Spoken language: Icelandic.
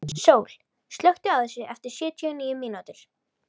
Sól, slökktu á þessu eftir sjötíu og níu mínútur.